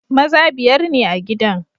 Maza biyar ne a gidan.